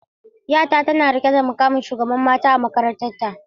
Yata tana rike da muƙamin shugaban mata a makarantarta.